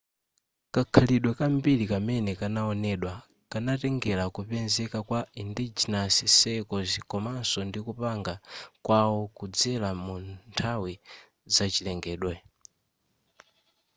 kakhalidwe kambiri kamene kanaonedwa kanatengera kupezeka kwa endogenous circles komanso ndikupanga kwawo kudzera munthawi zachilengedwe